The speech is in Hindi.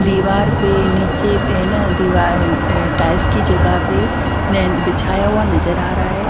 दीवार पे नीचे ना दीवार टायर्स की जगह पे बिछाया हुआ नजर आ रहा है।